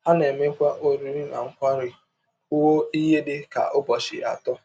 A na - emekwa ọrịrị na nkwari rụọ ihe dị ka ụbọchị atọ.